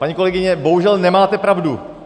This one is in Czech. Paní kolegyně, bohužel nemáte pravdu.